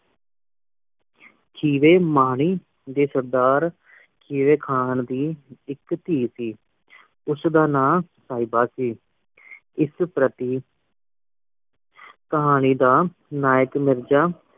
ਖ਼ੀਵੇ ਮਾਨੀ ਦੇ ਸਰਦਾਰ ਖੀਵੇ ਖਾਨ ਦੀ ਇਕ ਧੀ ਸੀ ਉਸਦਾ ਨਾਂ ਸਾਹਿਬਾਂ ਸੀ ਇਸ ਪ੍ਰਤੀ ਕਹਾਣੀ ਦਾ ਨਾਇਕ ਮਿਰਜ਼ਾ